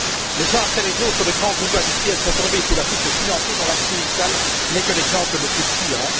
Les uns après les autres, de grands groupes industriels sont tombés sous la coupe de financiers, dont Lakshmi Mittal n'est que l'exemple le plus criant.